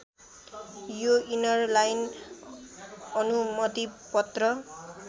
यो इनरलाइन अनुमतिपत्र